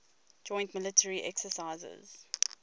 joint military exercises